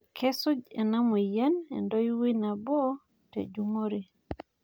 kesuj ena moyian entoiwoi nabo tejungore